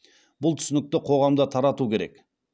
бұл түсінікті қоғамда тарату керек